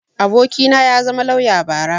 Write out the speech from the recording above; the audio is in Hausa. abokina ya zama lauya bara